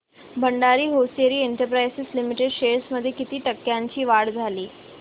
Bhandari hosiery exports limited shares मध्ये किती टक्क्यांची वाढ झाली